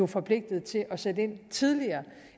forpligtet til at sætte ind tidligere